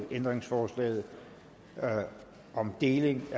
ændringsforslaget om deling af